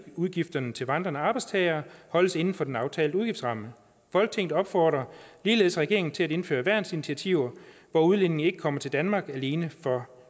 udgifterne til vandrende arbejdstagere holdes inden for den aftalte udgiftsramme folketinget opfordrer ligeledes regeringen til at indføre værnsinitiativer hvor udlændinge ikke kommer til danmark alene for